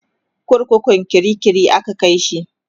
kurkukun kirikiri aka Kai shi